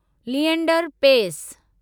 Leander Paes